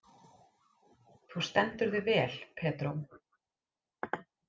Þú stendur þig vel, Pedró!